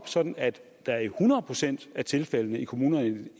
sådan at der i hundrede procent af tilfældene i kommunerne